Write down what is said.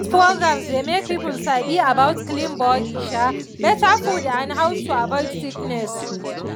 these programs dey make people sabi about clean body um better food and how to avoid sickness